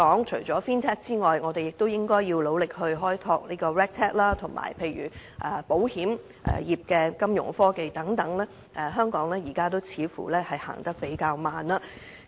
除了 Fintech 外，我們亦應該努力開拓 Regtech， 以及保險業的金融科技等，在這方面，似乎香港現時也走得較慢。